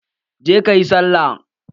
Je ka yi sallah!